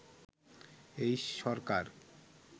এই সরকার